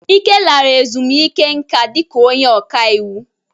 Ike lara ezumike nká dịka onye ọka iwu.